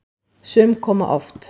Sum koma oft.